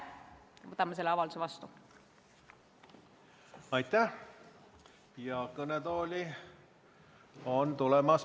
Võtame selle avalduse vastu!